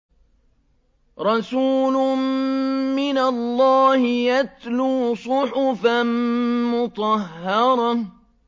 رَسُولٌ مِّنَ اللَّهِ يَتْلُو صُحُفًا مُّطَهَّرَةً